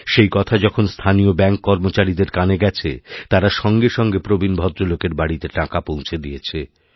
সেই কথা যখনস্থানীয় ব্যাঙ্ক কর্মচারীদের কানে গেছে তাঁরা সঙ্গে সঙ্গে প্রবীণ ভদ্রলোকের বাড়িতেটাকা পৌঁছে দিয়েছেন